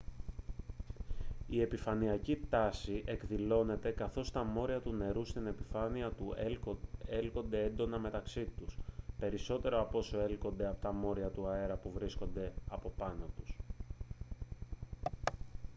η επιφανειακή τάση εκδηλώνεται καθώς τα μόρια του νερού στην επιφάνειά του έλκονται έντονα μεταξύ τους περισσότερο από όσο έλκονται από τα μόρια του αέρα που βρίσκονται από πάνω τους